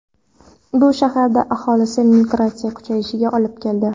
Bu shaharda aholi migratsiyasi kuchayishiga olib keldi.